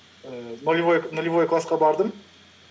ііі нолувой классқа бардым